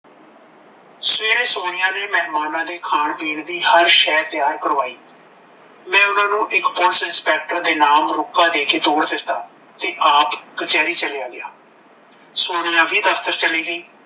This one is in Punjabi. ਸ਼੍ਰੇਆ ਸੋਨੀਆ ਨੇ ਮਹਿਮਾਨਾਂ ਦੇ ਖਾਣ ਪੀਣ ਦੀ ਹਰ ਸ਼ੈ ਤਿਆਰ ਕਰਵਾਈ ਮੈ ਓਨਾ ਨੂੰ ਇੱਕ police inspector ਦੇ ਨਾਮ ਰੁਕਾ ਦੇਕੇ ਤੋਰ ਦਿੱਤਾ ਤੇ ਆਪ ਕਚਹਿਰੀ ਚਲਿਆ ਗਿਆ ਸੋਨੀਆ ਵੀ ਦਫਤਰ ਚਲੇਗੀ